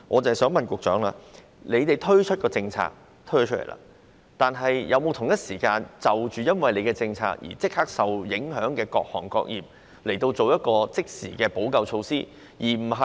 政府在推出上述政策後，有否同時因應政策的影響，立刻向受影響的各行各業提供即時的補救措施？